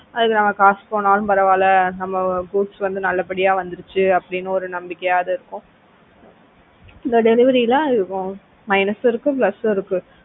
அதுக்கு நம்ம காசு போனாலும் பரவாயில்லை நம்ம goods வந்து நல்லபடியா வந்துடுச்சு அப்படின்னு ஒரு நம்பிக்கையாவது இருக்கும் இந்த delivery எல்லாம் minus இருக்கும் plus சும் இருக்கும்